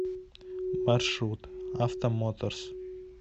маршрут автомоторс